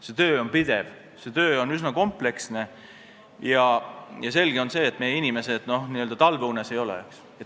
See töö on pidev, see töö on üsna kompleksne ja selge on see, et meie inimesed n-ö talveunes ei ole.